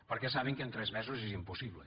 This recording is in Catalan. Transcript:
perquè saben que en tres mesos és impossible